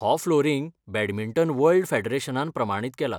हो flooring badminton world फेडरेशनान प्रमाणीत केला.